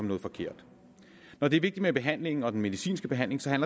noget forkert når det er vigtigt med behandlingen og den medicinske behandling så er